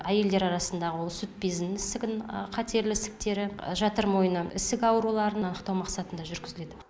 әйелдер арасындағы ол сүт безінің ісігін қатерлі ісіктері жатыр мойны ісік ауруларын анықтау мақсатында жүргізіледі